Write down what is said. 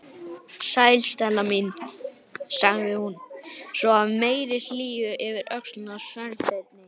Sæl, Stella mín- sagði hún svo af meiri hlýju yfir öxlina á Sveinbirni.